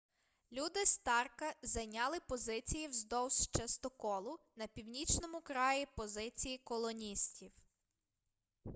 люди старка зайняли позиції вздовж частоколу на північному краї позиції колоністів